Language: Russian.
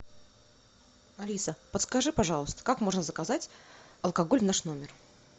алиса подскажи пожалуйста как можно заказать алкоголь в наш номер